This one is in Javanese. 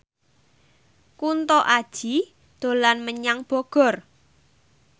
Kunto Aji dolan menyang Bogor